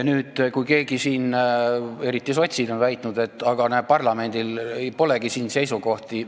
On neid, eriti sotside hulgas, kes on väitnud, et näe, parlamendil polegi siin seisukohta.